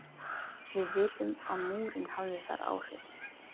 Við vitum að Múrinn hafði þar áhrif.